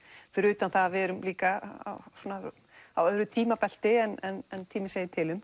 fyrir utan það að við erum líka á öðru tímabelti en tíminn segir til um